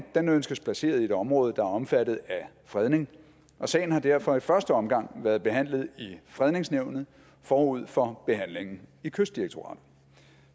ønskes placeret i et område der er omfattet af fredning og sagen har derfor i første omgang været behandlet i fredningsnævnet forud for behandlingen i kystdirektoratet